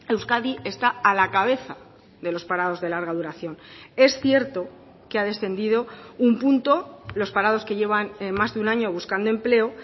euskadi está a la cabeza de los parados de larga duración es cierto que ha descendido un punto los parados que llevan más de un año buscando empleo